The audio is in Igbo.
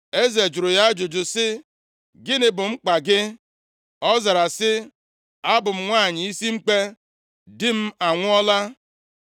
Eze jụrụ ya ajụjụ sị, “Gịnị bụ mkpa gị?” Ọ zara sị, “Abụ m nwanyị isi mkpe, di m anwụọla.